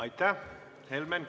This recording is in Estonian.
Aitäh!